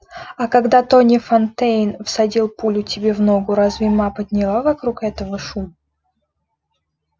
а когда тони фонтейн всадил пулю тебе в ногу разве ма подняла вокруг этого шум